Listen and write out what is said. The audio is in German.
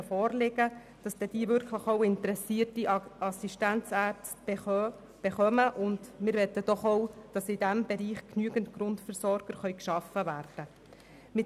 Wir wünschen uns, dass die Praxen auf dem Land auch wirklich interessierte Assistenzärzte erhalten und in diesem Bereich genügend Grundversorger geschaffen werden können.